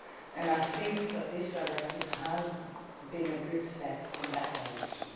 and I think that this directive has been a good step in that direction.